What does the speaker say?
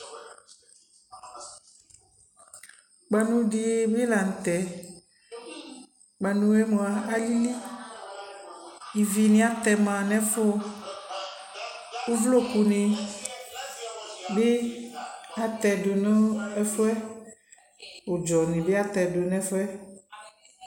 kpanʋ dibi lantɛ, kpanʋɛ mʋa ayi alili, ivi ni atɛma nʋ ɛƒʋ kʋ ʋvlɔkʋ ni bi atɛdʋ nʋ ɛƒʋɛ, ʋdzɔ ni bi atɛdʋ nʋ ɛƒʋɛ